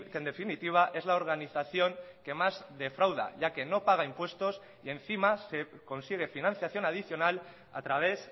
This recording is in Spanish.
en definitiva es la organización que más defrauda ya que no paga impuestos y encima consigue financiación adicional a través